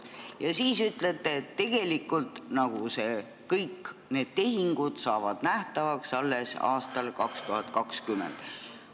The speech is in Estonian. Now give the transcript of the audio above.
Ja siis te ütlete, et tegelikult saavad kõik need tehingud nähtavaks alles aastal 2020.